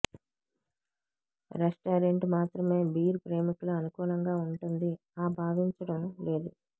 restaurant మాత్రమే beer ప్రేమికులు అనుకూలంగా ఉంటుంది ఆ భావించడం లేదు